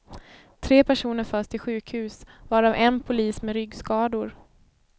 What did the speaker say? Tre personer förs till sjukhus, varav en polis med ryggskador.